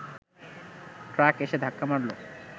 truck এসে ধাক্কা মারল